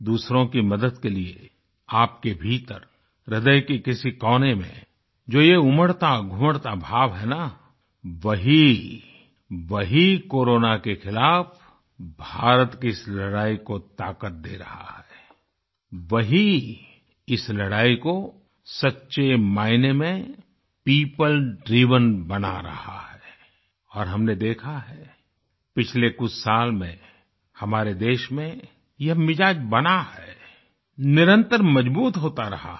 दूसरों की मदद के लिए आपके भीतर ह्रदय के किसी कोने में जो ये उमड़ताघुमड़ता भाव है ना वही वही कोरोना के खिलाफ भारत की इस लड़ाई को ताकत दे रहा है वही इस लड़ाई को सच्चे मायने में पियोपल ड्राइवेन बना रहा है और हमने देखा है पिछले कुछ साल में हमारे देश में यह मिज़ाज बना है निरंतर मज़बूत होता रहा है